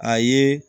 A ye